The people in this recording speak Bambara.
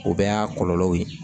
O bɛɛ y'a kɔlɔlɔw ye